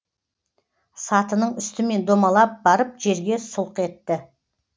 сатының үстімен домалап барып жерге сұлқ етті